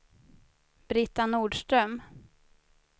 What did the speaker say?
Britta Nordström